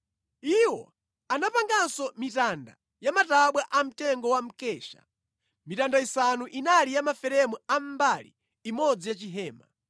Iwo anapanganso mitanda ya matabwa amtengo wa mkesha. Mitanda isanu inali ya maferemu a mbali imodzi ya chihema,